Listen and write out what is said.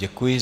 Děkuji.